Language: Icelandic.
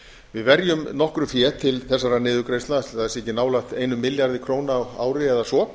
við verjum nokkru fé til þessarar niðurgreiðsla ætli það sé ekki nálægt einum milljarði króna á ári eða svo